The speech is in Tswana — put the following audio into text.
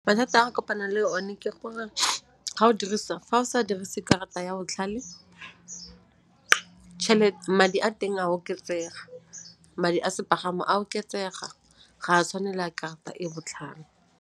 Mathata a re kopanang le o ne ke gore ga o dirisa, fa o sa dirise karata ya botlhale madi a teng a oketsega, madi a sepagamo a oketsega ga a tshwane le a karata e botlhale.